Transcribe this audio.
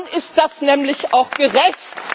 Dann ist das nämlich auch gerecht.